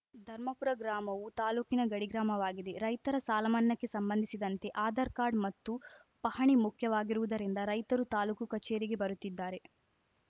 ಧರ್ಮಪುರ ಗ್ರಾಮವು ತಾಲೂಕಿನ ಗಡಿ ಗ್ರಾಮವಾಗಿದೆ ರೈತರ ಸಾಲಮನ್ನಾಕ್ಕೆ ಸಂಬಂಧಿಸಿದಂತೆ ಆಧಾರ್‌ ಕಾರ್ಡ್‌ ಮತ್ತು ಪಹಣಿ ಮುಖ್ಯವಾಗಿರುವುದರಿಂದ ರೈತರು ತಾಲೂಕು ಕಚೇರಿಗೆ ಬರುತ್ತಿದ್ದಾರೆ